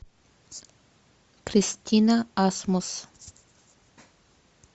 кристина асмус